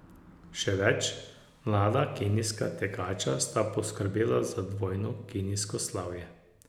Še več, mlada kenijska tekača sta poskrbela za dvojno kenijsko slavje.